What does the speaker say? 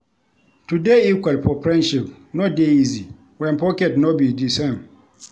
To dey equal for friendship no dey easy wen pocket no be di same.